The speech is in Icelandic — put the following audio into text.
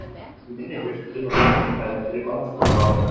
Í minni fjölskyldu var engin hefð fyrir langskólanámi.